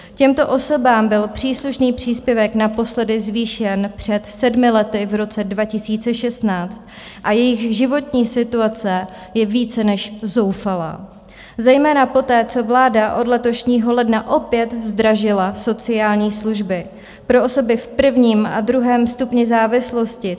Těmto osobám byl příslušný příspěvek naposledy zvýšen před sedmi lety v roce 2016 a jejich životní situace je více než zoufalá, zejména poté, co vláda od letošního ledna opět zdražila sociální služby pro osoby v prvním a druhém stupni závislosti.